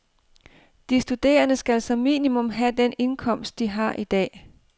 De studerende skal som minimum have den indkomst, de har i dag.